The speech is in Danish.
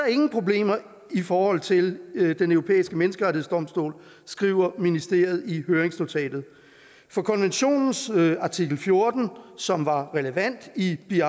ingen problemer i i forhold til den europæiske menneskerettighedsdomstol skriver ministeriet i høringsnotatet for konventionens artikel fjorten som var relevant i i